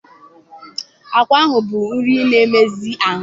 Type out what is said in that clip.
Agwa bụ nri na-emezi ahụ.